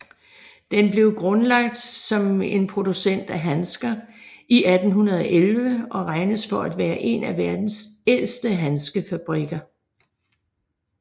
Den blev grundlagt som en producent af handsker i 1811 og regnes for at være en af verdens ældste handskefabrikker